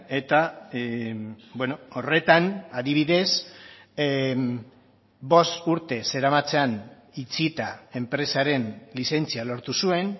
eta horretan adibidez bost urte zeramatzan itxita enpresaren lizentzia lortu zuen